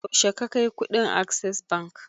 Yaushe ka kai kuɗin access bank?